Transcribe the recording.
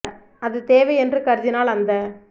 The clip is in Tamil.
அது தேவை என்று கருதினால் அந்த